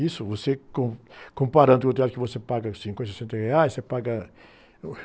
Isso, você, com, comparando com o teatro que você paga cinquenta, sessenta reais, você paga...